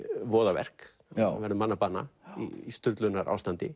voðaverk hann verður manni að bana í